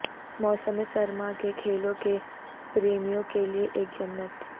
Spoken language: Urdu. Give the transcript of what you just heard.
موسم سرما کے کھیلوں کے پریمیوں کے لئے ایک جنت